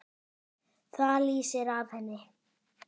Það lýsir af henni.